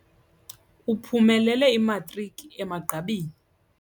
Uphumelele imatriki emagqabini.